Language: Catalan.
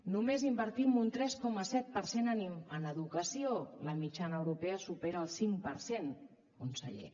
només invertim un tres coma set per cent en educació la mitjana europea supera el cinc per cent conseller